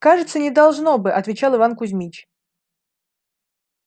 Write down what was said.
кажется не должно бы отвечал иван кузмич